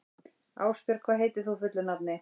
Ásbjörg, hvað heitir þú fullu nafni?